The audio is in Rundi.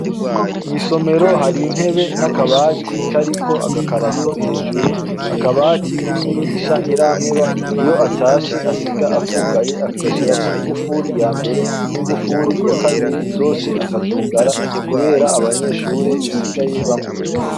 Mw'isomero hari intebe n'akabati kariko agakarato hejuru .Akabati k'umwigisha Ntirampeba .Iyo atashe, asiga akugaye agashirako ingufu ya mbere n'ingufuri ya kabiri, zose akazugara kubera abanyeshure basigaye bamwiba.